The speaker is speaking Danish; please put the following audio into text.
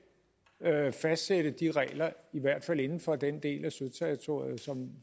fastsætte de regler i hvert fald inden for den del af søterritoriet